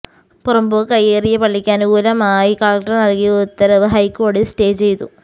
പുറമ്പോക്ക് കയ്യേറിയ പള്ളിക്ക് അനുകൂലമായി കളക്ടർ നൽകിയ ഉത്തരവ് ഹൈക്കോടതി സ്റ്റേ ചെയ്തു